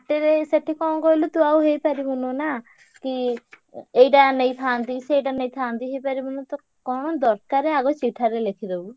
ହାଟରେ ସେଠି କଣ କହିଲୁ ତୁ ଆଉ ହେଇପାରିବୁନୁ ନା କି ଏଇଟା ନେଇଥାନ୍ତି ସେଇଟା ନେଇଥାନ୍ତି ହେଇପାରିବୁନୁ ତ କଣ ଦରକାର ଆଗ ଚିଠାରେ ଲେଖିଦବୁ।